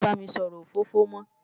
Má bá mi sòrò ófófó mò